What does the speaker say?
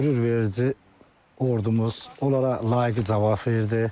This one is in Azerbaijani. Qürurverici ordumuz onlara layiqli cavab verdi.